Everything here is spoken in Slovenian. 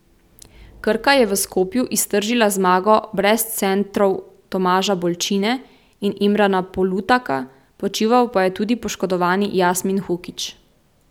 Krka je v Skopju iztržila zmago brez centrov Tomaža Bolčine in Imrana Polutaka, počival pa je tudi poškodovani Jasmin Hukić.